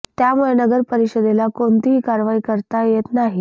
त्यामुळे नगर परिषदेला कोणतीही कारवाई करता येत नाही